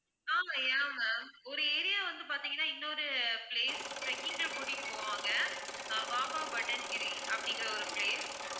ஆமாம் yeah ma'am ஒரு area வந்து பார்த்தீங்கனா இன்னொரு place trekking ல கூட்டிட்டு போவாங்க அஹ் பாபா பட்டன்கிரி அப்படிங்கற ஒரு place